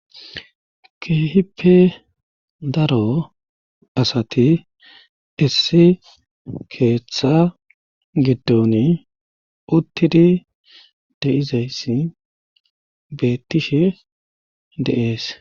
keehippe daro asati issi keeththa giddoni uttidi deizayssi beettishe deees